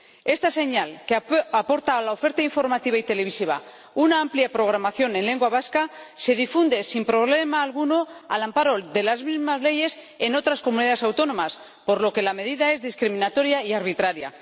Esta señal, que aporta a la oferta informativa y televisiva una amplia programación en lengua vasca, se difunde sin problema alguno al amparo de las mismas leyes en otras comunidades autónomas, por lo que la medida es discriminatoria y arbitraria.